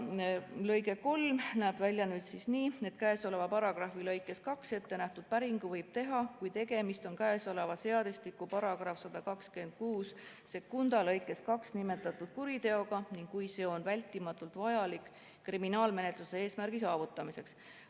" Lõige 3 näeb välja nii: "Käesoleva paragrahvi lõikes 2 ettenähtud päringu võib teha, kui tegemist on käesoleva seadustiku § 1262 lõikes 2 nimetatud kuriteoga ning kui see on vältimatult vajalik kriminaalmenetluse eesmärgi saavutamiseks.